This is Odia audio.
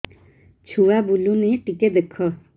ଛୁଆ ବୁଲୁନି ଟିକେ ଦେଖ